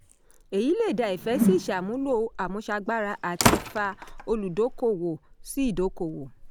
èyí lé dá ìfẹ́ sí ìṣàmúlò àmúṣagbára àti fa olùdókòwò sí ìdokòwò.